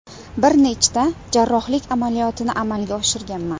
Bir nechta jarrohlik amaliyotini amalga oshirganman.